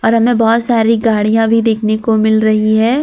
हमे बहोत सारी गाड़ियां भी देखने को मिल रही है।